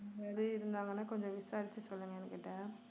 இருந்தாங்கன்னா கொஞ்சம் விசாரிச்சு சொல்லுங்க என்கிட்ட